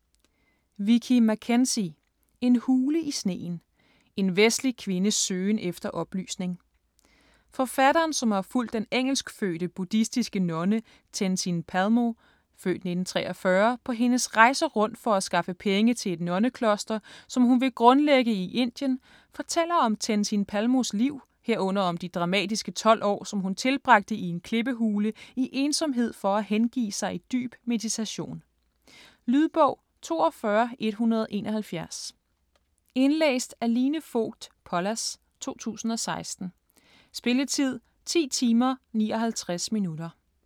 Mackenzie, Vicki: En hule i sneen: en vestlig kvindes søgen efter oplysning Forfatteren, som har fulgt den engelskfødte buddhistiske nonne Tenzin Palmo (f. 1943) på hendes rejser rundt for at skaffe penge til et nonnekloster, som hun ville grundlægge i Indien, fortæller om Tenzin Palmos liv, herunder om de dramatiske 12 år, som hun tilbragte i en klippehule i ensomhed for at hengive sig i dyb meditation. Lydbog 42171 Indlæst af Line Fogt Pollas, 2016. Spilletid: 10 timer, 59 minutter.